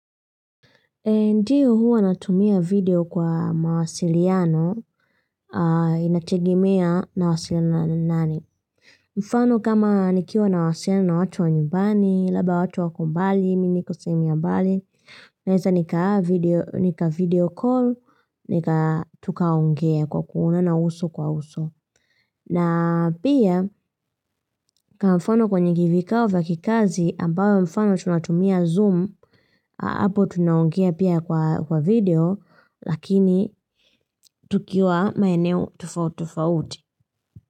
Ndio, huwa natumia video kwa mawasiliano inategemea nawasiliana na nani. Mfano kama nikiwa nawasiliana na watu wa nyumbani, labda watu wako mbali, mi niko sehemu ya mbali. Naeza nika-videocall, tukaongea kwa kuonana uso kwa uso. Na pia kwa mfano kwenye vikao vya kikazi ambayo mfano tunatumia zoom hapo tunaungea pia kwa video lakini tukiwa maeneo tofautitofauti.